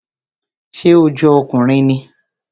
Ṣé ó jọ ọkùnrin ni?